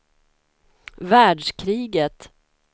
världskriget